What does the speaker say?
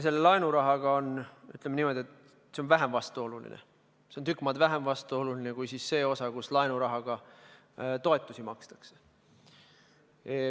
Selle laenurahaga on niimoodi, et see on vähem vastuoluline, see on tükk maad vähem vastuoluline kui see, et laenurahaga toetusi makstakse.